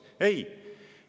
Ei!